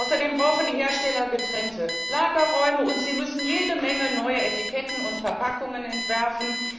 Außerdem brauchen die Hersteller getrennte Lagerräume, und sie müssen jede Menge neue Etiketten und Verpackungen entwerfen.